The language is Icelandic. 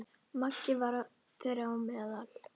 Maggi var þeirra á meðal.